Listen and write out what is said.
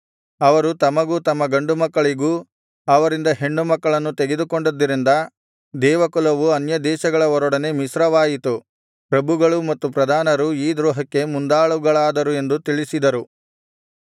ಅವರು ತಮಗೂ ತಮ್ಮ ಗಂಡುಮಕ್ಕಳಿಗೂ ಅವರಿಂದ ಹೆಣ್ಣುಮಕ್ಕಳನ್ನು ತೆಗೆದುಕೊಂಡದ್ದರಿಂದ ದೇವಕುಲವು ಅನ್ಯದೇಶಗಳವರೊಡನೆ ಮಿಶ್ರವಾಯಿತು ಪ್ರಭುಗಳೂ ಮತ್ತು ಪ್ರಧಾನರೂ ಈ ದ್ರೋಹಕ್ಕೆ ಮುಂದಾಳುಗಳಾದರು ಎಂದು ತಿಳಿಸಿದರು